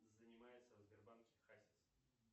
занимается в сбербанке хазис